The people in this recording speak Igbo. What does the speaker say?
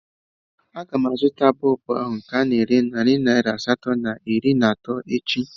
A ga m azụta bọlbụ ahụ nke ana ere narị naira asatọ na iri na atọ echi